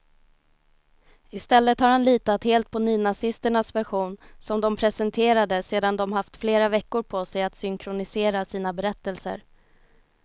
I stället har han litat helt på nynazisternas version, som de presenterade sedan de haft flera veckor på sig att synkronisera sina berättelser.